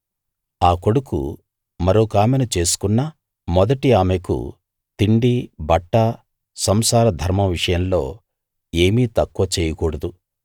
ఆ కొడుకు మరొకామెను చేసుకున్నా మొదటి ఆమెకు తిండి బట్ట సంసార ధర్మం విషయంలో ఏమీ తక్కువ చేయకూడదు